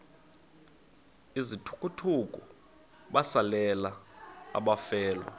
izithukuthuku besalela abafelwa